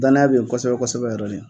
Dannaya bɛ yen kosɛbɛ kosɛbɛ yɛrɛ de